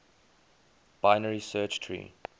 binary search tree